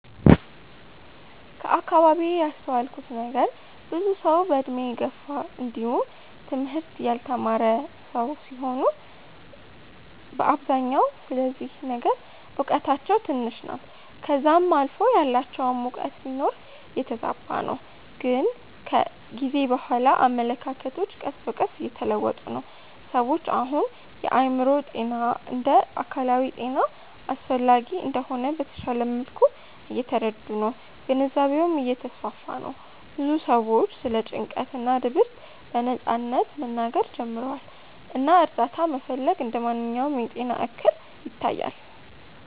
ከአከባቢዬ ያስተዋልኩት ነገር ብዙ ሰዉ በእድሜ የገፉ እንዲውም ትምህርት ያልተማረ ሰዉ ሲሆኑ በአብዛኛው ስለዚህ ነገር እውቀታቸው ትንሽ ናት ከዛም አልፎ ያላቸውም እውቀት ቢኖር የተዛባ ነው ግን ከጊዜ በኋላ አመለካከቶች ቀስ በቀስ እየተለወጡ ነው። ሰዎች አሁን የአእምሮ ጤና እንደ አካላዊ ጤና አስፈላጊ እንደሆነ በተሻለ መልኩ እየተረዱ ነው ግንዛቤውም እየተስፋፋ ነው ብዙ ሰዎችም ስለ ጭንቀት እና ድብርት በነጻነት መናገር ጀምረዋል እና እርዳታ መፈለግ እንደ ማንኛውም የጤና እክል ይታያል።